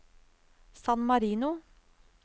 San Marino